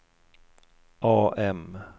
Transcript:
AM